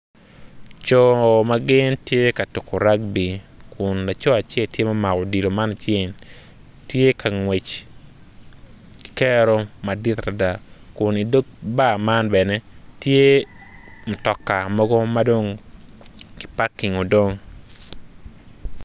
Co ma gin tye ka tuko rakbi kun laco acel tye ma omako odilo ma icinge tye ka ngwec ki kero madit adada kun idog bar man bene tye mutoka mogo ma dong tye kipakingo dong.